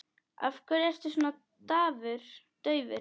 Af hverju ertu svona daufur?